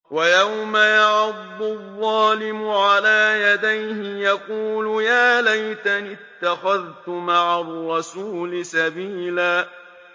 وَيَوْمَ يَعَضُّ الظَّالِمُ عَلَىٰ يَدَيْهِ يَقُولُ يَا لَيْتَنِي اتَّخَذْتُ مَعَ الرَّسُولِ سَبِيلًا